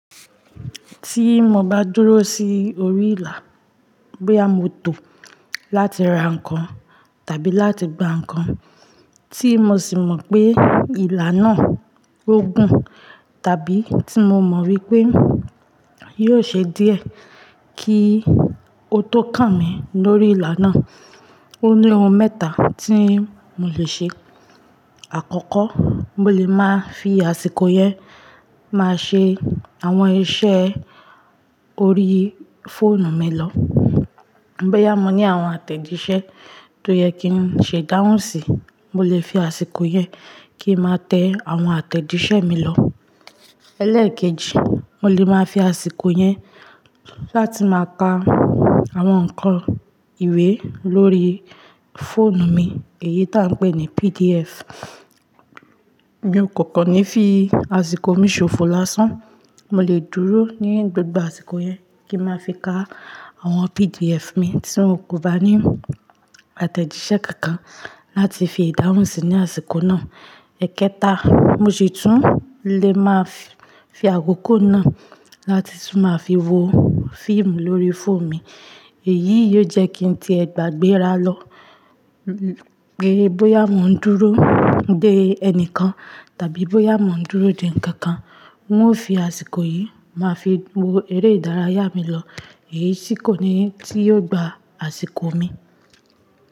Tí mo bá dúró sí orí ìlà, bóyá mo tó láti ra nǹkan tàbí láti gba nǹkan tí mo sì mọ̀ pé ìlà náà ó gùn tàbí tí mo mọ̀ wípé yóò ṣe díẹ̀ kí ó tó kàn mí lórí ìlà náà. Ó ní ohun mẹ́ta tí mò lè ṣe. Àkọ́kọ́, mo lè máa fi àsìkò yẹn máa ṣe àwọn iṣẹ́ orí fóònù mi lọ. Bóyá mo ní àwọn àtẹ̀jíṣẹ́ tó yẹ kí n ṣe idáhùnsì, mo lè fi àsìkò yẹn kí n máa tẹ àwọn àtẹ̀jíṣẹ́ mi lọ. Ẹ̀leekeji, mo lè máa fi àsìkò yẹn láti máa ka àwọn ǹkan ìwé lórí fóònù mi, èyí tó à ń pè ní PDF. Mi o kọ̀ kan ní fí àsìkò mi ṣòfò lásán, mo lè dúró ní gbogbo àsìkò yẹn kí n máa fi ka àwọn PDF mi tí mio kò bá ní àtẹ̀jíṣẹ́ kankan láti fi idáhùnsì ní àsìkò náà. Ẹ̀ẹ́kẹta, mo sì tún lè máa fi àkókò náà láti tún máa fi wo fíìmù lórí fóònù mi. Èyí yóò jẹ́ kí ń tiẹ́ gbá gbéra lọ. Pé bóyá mò ń dúró dé ẹni kan tàbí bóyá mò ń dúró dé ǹkan kan, n ó fi àsìkò yìí máa fi wo eré ìdárayá mi lọ. Èyí tì kò ní tí yóò gba àsìkò mi.